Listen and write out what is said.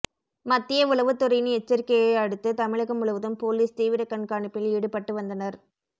மத்திய உளவுத்துறையின் எச்சரிக்கையை அடுத்து தமிழகம் முழுவதும் போலீஸ் தீவிர கண்காணிப்பில் ஈடுபட்டு வந்தனர்